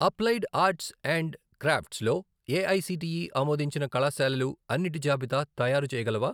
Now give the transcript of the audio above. Applied arts and crafts లో AICTE ఆమోదించిన కళాశాలలు అన్నిటి జాబితా తయారుచేయగలవా?